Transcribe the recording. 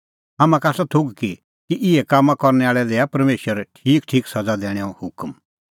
हाम्हां का आसा थोघ कि इहै कामां करनै आल़ै लै दैआ परमेशर ठीकठीक सज़ा दैणैंओ हुकम